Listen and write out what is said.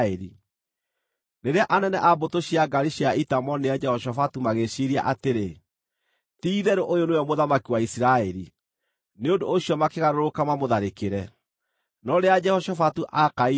Rĩrĩa anene a mbũtũ cia ngaari cia ita moonire Jehoshafatu magĩĩciiria atĩrĩ, “Ti-itherũ ũyũ nĩwe mũthamaki wa Isiraeli” Nĩ ũndũ ũcio makĩgarũrũka mamũtharĩkĩre, no rĩrĩa Jehoshafatu aakaire-rĩ,